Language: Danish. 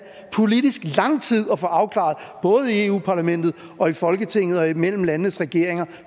lang tid at få afklaret både i europa parlamentet og folketinget og imellem landenes regeringer